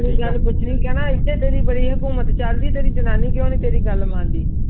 ਆਈ ਗੱਲ ਪੂਛਣੀ ਕੈਨਾ ਐਥੇ ਤੇਰੀ ਬੜੀ ਖਾਕੂਮੈਟ ਚਲਦੀ ਤੇਰੀ ਜਨਾਨੀ ਕ੍ਯੂਂ ਨਾਈ ਤੇਰੀ ਗੱਲ ਮੰਡ੍ਹੀ